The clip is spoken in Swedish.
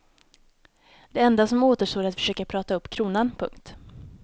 Det enda som återstår är att försöka prata upp kronan. punkt